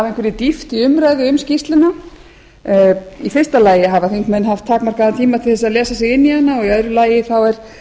einhverri dýpt í umræðu um skýrsluna í fyrsta lagi hafa þingmenn haft takmarkaðan tíma til að lesa sig inn í hana og í öðru lagi